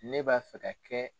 Ne b'a fɛ ka kɛ.